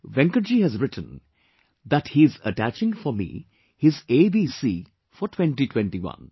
Venkatji has written that he is attaching for me his ABC for 2021